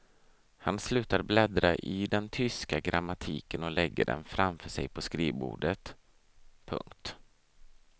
Han slutar bläddra i den tyska grammatiken och lägger den framför sej på skrivbordet. punkt